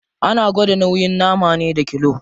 Ana gwada nauyin nama ne da kilo.